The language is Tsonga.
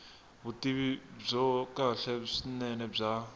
vutivi byo kahle swinene bya